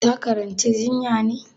Ta karanci jinya ne?